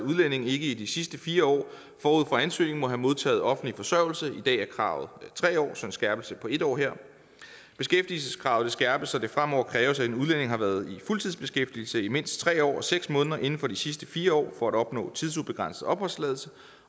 udlændinge ikke i de sidste fire år forud for ansøgningen må have modtaget offentlig forsørgelse i dag er kravet tre år så en skærpelse på en år beskæftigelseskravet bliver skærpet så det fremover kræves at en udlænding har været i fuldtidsbeskæftigelse i mindst tre år og seks måneder inden for de sidste fire år for at opnå tidsubegrænset opholdstilladelse